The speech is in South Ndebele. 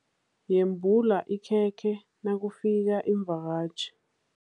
Yembula ikhekhe nakufika iimvakatjhi.